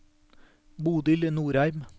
Bodil Nordheim